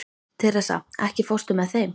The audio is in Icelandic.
Teresa, ekki fórstu með þeim?